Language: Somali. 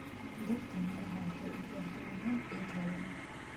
Dhirta miraha waxay u baahan yihiin ciid hodan ah.